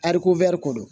Ariko ko don